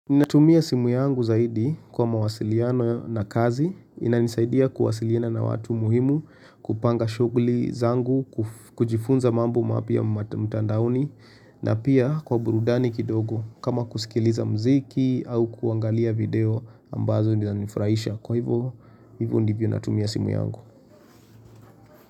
Ninatumia simu yangu zaidi kwa mawasiliano na kazi, inanisaidia kuwasiliana na watu muhimu, kupanga shughuli zangu, kujifunza mambo mapya mtandaoni, na pia kwa burudani kidogo kama kusikiliza muziki au kuangalia video ambazo zinanifurahisha kwa hivo, hivyo ndivyo natumia simu yangu.